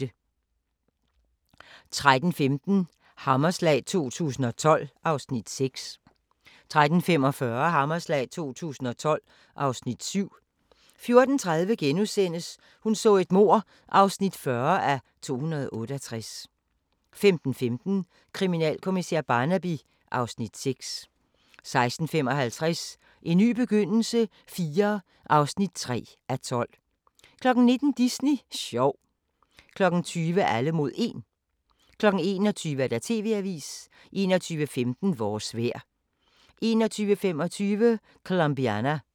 13:15: Hammerslag 2012 (Afs. 6) 13:45: Hammerslag 2012 (Afs. 7) 14:30: Hun så et mord (40:268)* 15:15: Kriminalkommissær Barnaby (Afs. 6) 16:55: En ny begyndelse IV (3:12) 19:00: Disney sjov 20:00: Alle mod 1 21:00: TV-avisen 21:15: Vores vejr 21:25: Colombiana